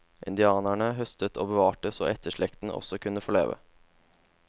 Indianerne høstet og bevarte så etterslekten også skulle få leve.